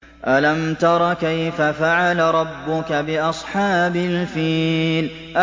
أَلَمْ تَرَ كَيْفَ فَعَلَ رَبُّكَ بِأَصْحَابِ الْفِيلِ